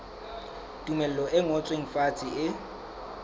tumello e ngotsweng fatshe e